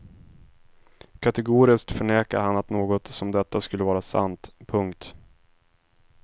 Kategoriskt förnekar han att något som detta skulle vara sant. punkt